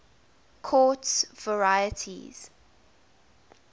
quartz varieties